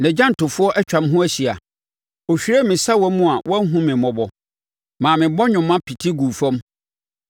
nʼagyantofoɔ atwa me ho ahyia, ɔhwiree me sawa mu a wanhunu me mmɔbɔ maa me bɔnwoma pete guu fam.